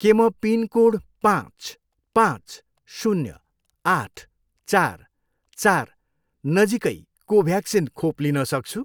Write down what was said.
के म पिनकोड पाँच, पाँच, शून्य, आठ, चार, चार, नजिकै कोभ्याक्सिन खोप लिन सक्छु?